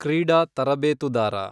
ಕ್ರೀಡಾ ತರಬೇತುದಾರ